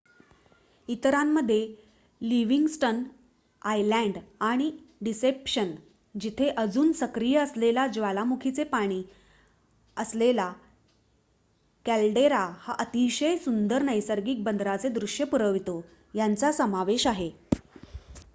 इतरांमध्ये Livingston Island आणि Deception जिथे अजून सक्रिय असलेल्या ज्वालामुखीचे पाणी असलेला कॅलडेरा हा अतिशय सुंदर नैसर्गिक बंदराचे दृश्य पुरवतो यांचा समावेश आहे